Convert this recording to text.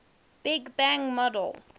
big bang model